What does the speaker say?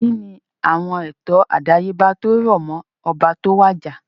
Kínni àwon ètò àdáyébá tí ó rò móó oba tó wàjà?